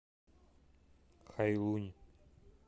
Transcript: хайлунь